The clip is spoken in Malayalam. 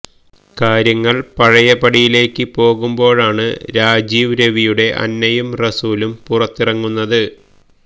കാര്യങ്ങള് പഴയപടിയിലേക്ക് പോകുമ്പോഴാണ് രാജീവ് രവിയുടെ അന്നയും റസൂലും പുറത്തിറങ്ങുന്നത്